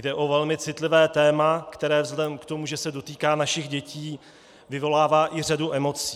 Jde o velmi citlivé téma, které vzhledem k tomu, že se dotýká našich dětí, vyvolává i řadu emocí.